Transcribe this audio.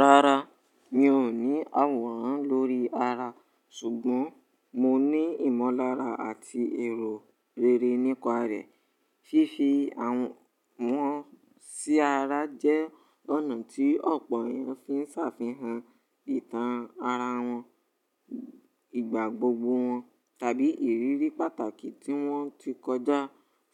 Rárá, mi ò ní àwòrán lórí ara ṣùgbọ́n mo ní ìmọ̀lára àti èrò rere nípa rẹ̀. Ṣiṣe àwọ, wọn sí ara jẹ́ ọ̀nà tí ọ̀pọ̀ èèyàn fi ń ṣàfihàn ìtàn ara wọn, ìgbà gbogbo wọn tàbí ìrírí pàtàkì tí wọ́n ti kọjá.